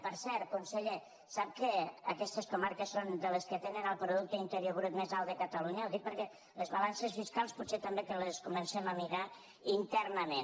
per cert conseller sap que aquestes comarques són de les que tenen el producte interior brut més alt de catalunya ho dic perquè les balances fiscals potser també que les comencem a mirar internament